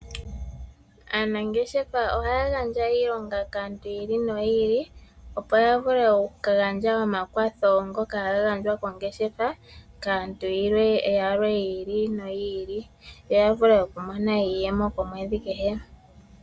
Aanangeshefa ohaya gandja iilonga kaantu yi ili noyi ili opo ya vule okugandja omakwatho ngoka haga gandjwa kongeshefa kaantu yalwe yi ili noyi ili, ya vule okumona iiyemo komwedhi kehe.